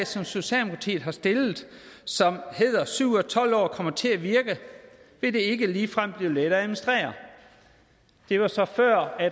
som socialdemokratiet har stillet som hedder syv ud af tolv år kommer til at virke vil det ikke ligefrem blive let at administrere det var så før